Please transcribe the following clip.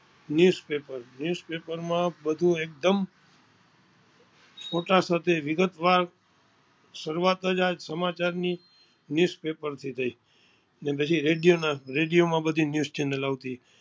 news paper news પેપરમાં બધુ એકદમ ફોટા સાથે વિગતવાર શરુઆત જ આ સમાચારની ન્યુઝ પેપરની થઈ પછી રેડીયામાં આ બધી news channal આવતી